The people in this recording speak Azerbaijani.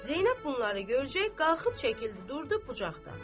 Zeynəb bunları görəcək qalxıb çəkildi durdu bucaqda.